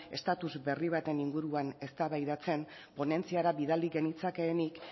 estatus berri baten inguruan eztabaidatzen ponentziara bidali genetzakenik